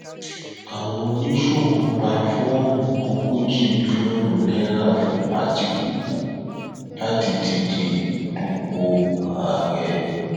àwọn oníṣòwò gba fọọmù ogójì mílíọnù náírà fún àtikukù láti díje dupò ààrẹ